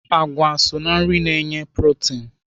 Àgwà so ná nri na-enye protin.